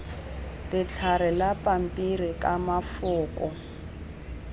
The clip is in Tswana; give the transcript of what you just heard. letlhare la pampiri ka mafoko